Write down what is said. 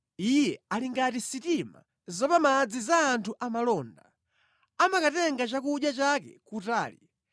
Iye ali ngati sitima zapamadzi za anthu amalonda, amakatenga chakudya chake kutali.